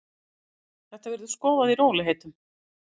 Það verður skoðað í rólegheitum.